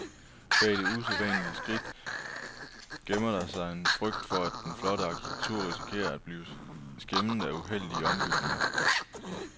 Bag det usædvanlige skridt gemmer der sig en frygt for, at den flotte arkitektur risikerer at blive skæmmet af uheldige ombygninger.